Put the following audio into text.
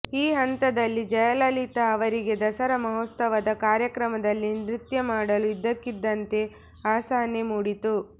ಈ ಹಂತದಲ್ಲಿ ಜಯಲಲಿತಾ ಅವರಿಗೆ ದಸರಾ ಮಹೋತ್ಸವದ ಕಾರ್ಯಕ್ರಮದಲ್ಲಿ ನೃತ್ಯ ಮಾಡಲು ಇದ್ದಕ್ಕಿಂದಂತೆ ಅಸಹನೆ ಮೂಡಿತು